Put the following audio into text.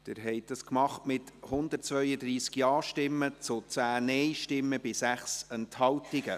Sie haben diesen Antrag ins Gesetz aufgenommen, mit 132 Ja- gegen 10 Nein-Stimmen bei 6 Enthaltungen.